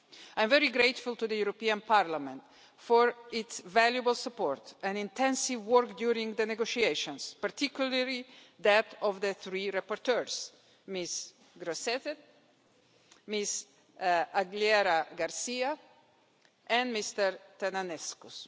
I'm very grateful to the European Parliament for its valuable support and intensive work during the negotiations, particularly that of the three rapporteurs Ms Grossetête, Ms Aguilera García and Mr Tănăsescu.